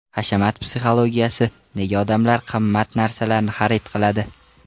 Hashamat psixologiyasi: Nega odamlar qimmat narsalarni xarid qiladi?.